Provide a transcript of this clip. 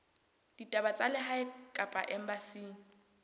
ditaba tsa lehae kapa embasing